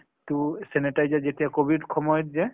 টো sanitizer যেতিয়া Covid সময়ত যে ।